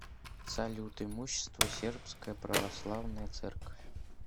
салют имущество сербская православная церковь